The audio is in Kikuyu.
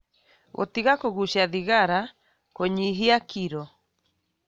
Gũtiga kũgucia thigara, kũnyihia kiro,